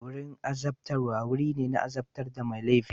Wurin azabtarwa wuri ne na azabtar da mai laifi.